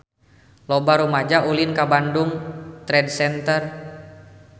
Loba rumaja ulin ka Bandung Trade Center